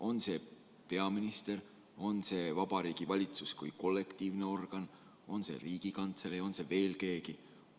On see peaminister, on see Vabariigi Valitsus kui kollektiivne organ, on see Riigikantselei või on see veel keegi?